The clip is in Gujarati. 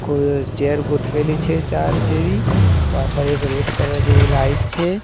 કોઈએ ચેર ગોઠવેલી છે ચાર જેવી પાછળ એક રેડ કલર જેવી લાઇટ છે.